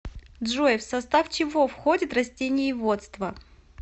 джой в состав чего входит растениеводство